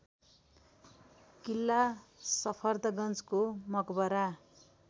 किल्ला सफदरजंगको मकबरा